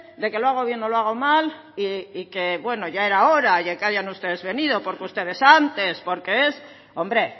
de que lo hago bien o lo hago mal y que bueno ya era hora de que hayan ustedes venido porque ustedes antes porque es hombre